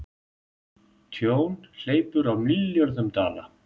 Tjón hleypur á milljörðum dala